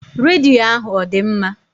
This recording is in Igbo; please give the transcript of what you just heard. Redio ahụ ọ dị mma?